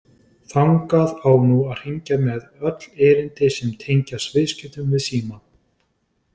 Þangað á nú að hringja með öll erindi sem tengjast viðskiptum við Símann.